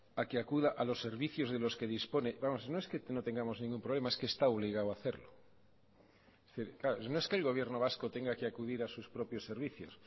a que acuda a los servicios de los que dispone vamos no es que no tengamos ningún problema es que está obligado a hacerlo no es que el gobierno vasco tenga que acudir a sus propios servicios